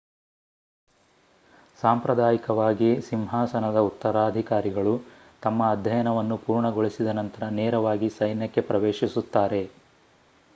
ಸಾಂಪ್ರದಾಯಿಕವಾಗಿ ಸಿಂಹಾಸನದ ಉತ್ತರಾಧಿಕಾರಿಗಳು ತಮ್ಮ ಅಧ್ಯಯನವನ್ನು ಪೂರ್ಣಗೊಳಿಸಿದ ನಂತರ ನೇರವಾಗಿ ಸೈನ್ಯಕ್ಕೆ ಪ್ರವೇಶಿಸುತ್ತಾರೆ